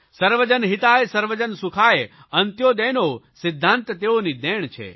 સર્વજન હિતાય સર્વજન સુખાય અંત્યોદયનો સિધ્ધાંત તેઓની દેણ છે